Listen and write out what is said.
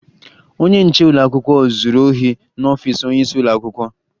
Onye nche ụlọakwụkwọ zuru ohi n'ọfiisi onyeisi ụlọakwụkwọ